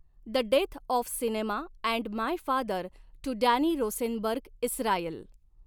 the death of cinema and my father too Danny Rosenberg Israel